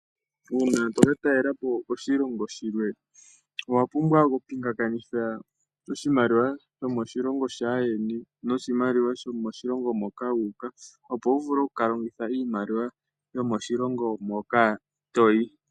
Uuna toka talelepo koshilongo shilwe, owapumbwa oku pingakanitha oshimaliwa shomoshilongo shaayeni noshimaliwa shomoshilongo moka wuuka, opo wu vule oku kalongitha iimaliwa yomoshilongo moka toyi.